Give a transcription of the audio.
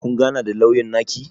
Kun gana da lauyan naki?